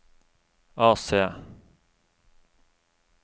AC